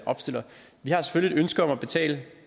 opstiller vi har selvfølgelig et ønske om at betale